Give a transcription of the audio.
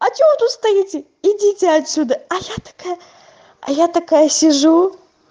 а что вы тут стоите идите отсюда а я такая а я такая сижу